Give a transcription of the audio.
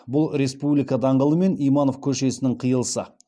бұл республика даңғылы мен иманов көшесінің қиылысы